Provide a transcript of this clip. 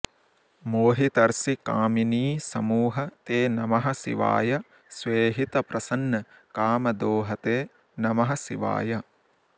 मोहितर्षिकामिनीसमूह ते नमः शिवाय स्वेहितप्रसन्न कामदोह ते नमः शिवाय